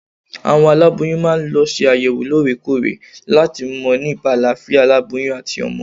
Àwọn aláboyún máa ń lọ ṣe àyẹ̀wò lóore kóòrè láti mọ̀ nípa àlàáfíà aláboyún àti ọmọ